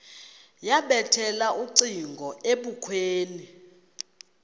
yabethela ucingo ebukhweni